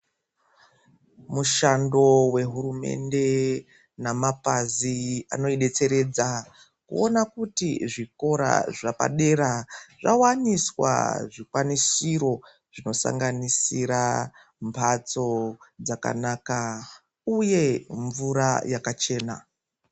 Mushando wehurumende namapazi anoidetseredza kuona kuti zvikora zvapadera zvawaniswa zvikwanisiro zvinosanganisira mhatso dzakanaka uye mvura yakachena.